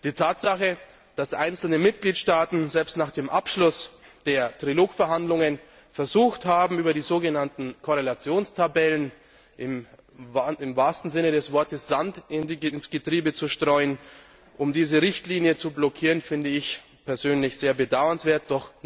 Die Tatsache, dass einzelne Mitgliedstaaten selbst nach Abschluss der Trilogverhandlungen versucht haben, über die sogenannten Korrelationstabellen im wahrsten Sinne des Wortes Sand ins Getriebe zu streuen, um diese Richtlinie zu blockieren, finde ich persönlich sehr bedauernswert.